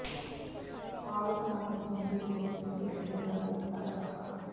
ਹਾਲਤ ਨਾਜ਼ੁਕ ਹੋਣ ਦੀ ਸੂਰਤ ਵਿੱਚ ਬਠਿੰਡੇ ਕਰ ਦਿੱਤਾ ਰੈਫ਼ਰ